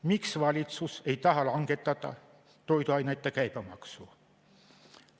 Miks valitsus ei taha langetada toiduainete käibemaksu?